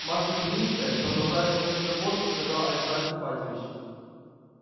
маша белинская продолжая смотреть на фотку сказал аристарх ипатьевич